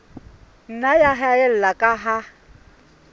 nna ya haella ka ha